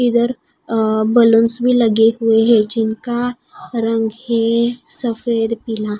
इधर अ बलुन्स भी लगे हुए हैं जिनका रंग है सफेद पीला--